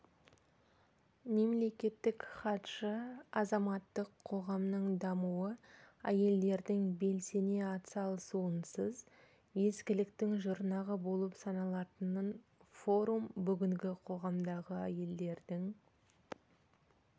мемлекеттік хатшы азаматтық қоғамның дамуы әйелдердің белсене атсалысуынсыз ескіліктің жұрнағы болып саналатынын форум бүгінгі қоғамдағы әйелдердің